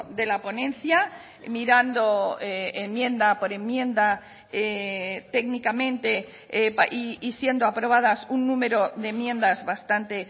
de la ponencia mirando enmienda por enmienda técnicamente y siendo aprobadas un número de enmiendas bastante